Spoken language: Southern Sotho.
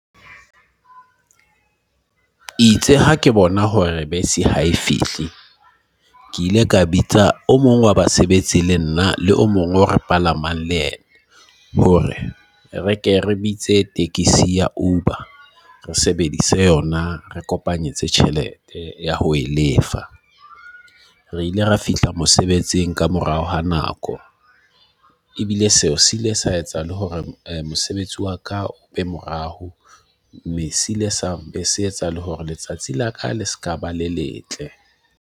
Itse ha ke bona hore bese ha e fihle, ke ile ka bitsa o mong wa basebetsi le nna le o mong o re palamang le yena. Hore re ke re bitse tekesi ya Uber. Re sebedise yona, re kopanyetsa tjhelete ya ho e lefa. Re ile ra fihla mosebetsing ka morao ha nako. Ebile seo siile sa etsa le hore mosebetsi wa ka o be morao, mme siile sa be se etsa le hore letsatsi la ka le sekaba le letle.